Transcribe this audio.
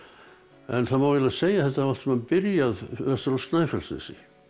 en það má segja að þetta hafi allt saman byrjað vestur á Snæfellsnesi